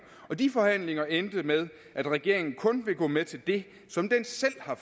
og de forhandlinger endte med at regeringen kun ville gå med til det som den selv har